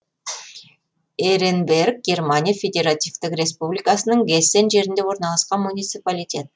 эренберг германия федеративтік республикасының гессен жерінде орналасқан муниципалитет